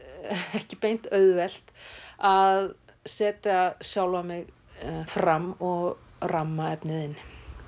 ekki beint auðvelt að setja sjálfa mig fram og ramma efnið inn